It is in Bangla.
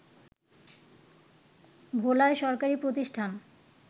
ভোলায় সরকারি প্রতিষ্ঠান